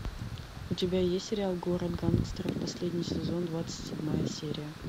у тебя есть сериал город гангстеров последний сезон двадцать седьмая серия